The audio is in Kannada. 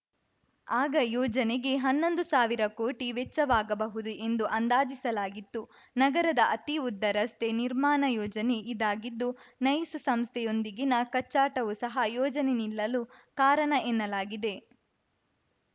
ಆಗ ಯೋಜನೆಗೆ ಹನ್ನೊಂದುಸಾವಿರ ಕೋಟಿ ವೆಚ್ಚವಾಗಬಹುದು ಎಂದು ಅಂದಾಜಿಸಲಾಗಿತ್ತು ನಗರದ ಅತಿ ಉದ್ದ ರಸ್ತೆ ನಿರ್ಮಾಣ ಯೋಜನೆ ಇದಾಗಿದ್ದು ನೈಸ್‌ ಸಂಸ್ಥೆಯೊಂದಿಗಿನ ಕಚ್ಚಾಟವು ಸಹ ಯೋಜನೆ ನಿಲ್ಲಲು ಕಾರಣ ಎನ್ನಲಾಗಿದೆ